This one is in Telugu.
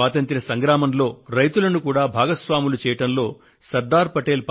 స్వాతంత్య్ర సంగ్రామంలో రైతులను కూడా భాగస్వాములు చేయడంలో శ్రీ సర్దార్ పటేల్